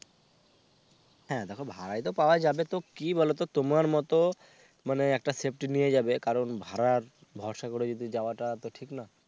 হ্যাঁ দেখো ভারাইতো পাওয়া যাবে তো কি বলতো তোমার মত মানে একটা safety নিয়ে যাবে কারণ ভাড়ার ভরসা করে যদি যাওয়াটা তো ঠিক না।